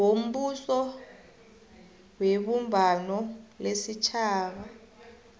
wombuso webumbano lesitjhaba